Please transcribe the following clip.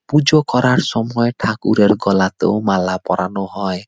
পুজো করার সময় ঠাকুরের গলাতেও মালা পরানো হয় ।